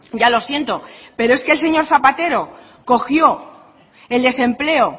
ya lo siento pero es que el señor zapatero cogió el desempleo